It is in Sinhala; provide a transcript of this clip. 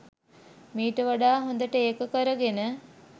මීට වඩා හොඳට ඒක කරගෙන